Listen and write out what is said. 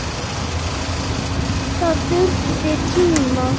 Það þurfti tíma.